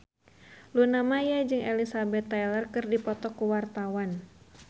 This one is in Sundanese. Luna Maya jeung Elizabeth Taylor keur dipoto ku wartawan